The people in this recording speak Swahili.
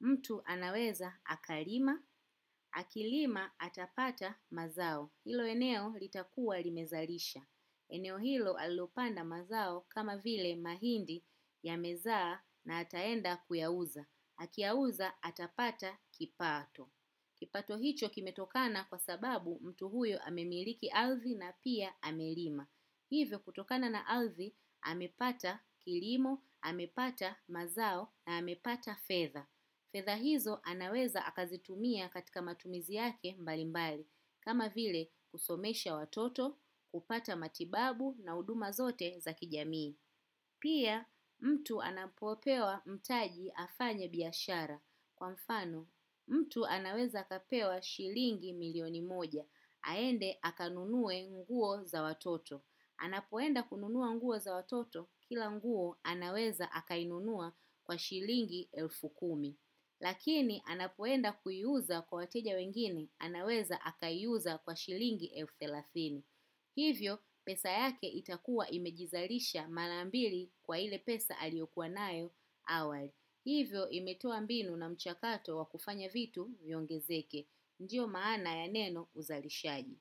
mtu anaweza akalima, akilima atapata mazao. Hilo eneo litakua limezalisha. Eneo hilo alilopanda mazao kama vile mahindi yamezaa na ataenda kuyauza. Akiyauza atapata kipato. Kipato hicho kimetokana kwa sababu mtu huyo amemiliki alzi na pia amelima. Hivyo kutokana na ardhi amepata kilimo, amepata mazao na amepata fedha. Fedha hizo anaweza akazitumia katika matumizi yake mbali mbali. Kama vile kusomesha watoto, kupata matibabu na huduma zote za kijamii. Pia mtu anapopewa mtaji afanye biashara. Kwa mfano mtu anaweza kapewa shilingi milioni moja aende akanunue nguo za watoto. Anapoenda kununua nguo za watoto. Kila nguo anaweza akainunua kwa shilingi elfu kumi lakini anakwenda kuiuza kwa wateja wengine anaweza akaiuza kwa shilingi elfu thelathini. Hivyo, pesa yake itakua imejizalisha marambili kwa ile pesa aliyokuwa nayo awali. Hivyo, imetoa mbinu na mchakato wa kufanya vitu iongezeke. Ndiyo maana ya neno uzalishaji.